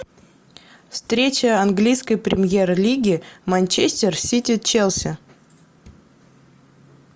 встреча английской премьер лиги манчестер сити челси